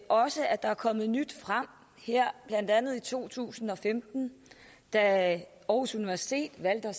også at der er kommet nyt frem blandt andet i to tusind og femten da aarhus universitet valgte at